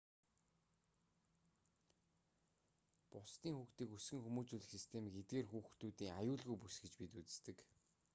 бусдын хүүхдийг өсгөн хүмүүжүүлэх системийг эдгээр хүүхдүүдийн аюулгүйн бүс гэж бид үздэг